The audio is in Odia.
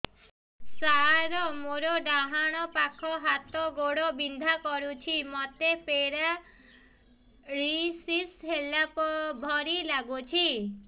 ସାର ମୋର ଡାହାଣ ପାଖ ହାତ ଗୋଡ଼ ବିନ୍ଧା କରୁଛି ମୋତେ ପେରାଲିଶିଶ ହେଲା ଭଳି ଲାଗୁଛି